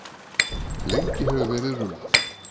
Lengi hefur verið rullað.